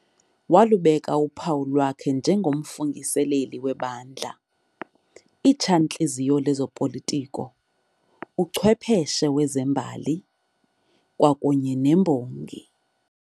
walubeka uphawu lwakhe nje ngomfungiseleli webandla, Itsha-ntliziyo lezopolitiko, uchwepheshe wezembali kwakunye nembongi.